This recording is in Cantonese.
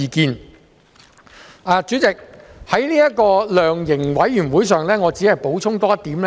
代理主席，我只想就量刑委員會補充多一點。